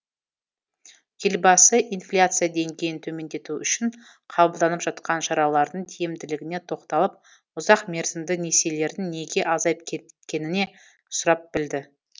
елбасы инфляция деңгейін төмендету үшін қабылданып жатқан шаралардың тиімділігіне тоқталып ұзақмерзімді несиелердің неге азайып кеткеніне сұрап білді